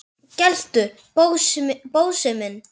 geltu, Bósi minn!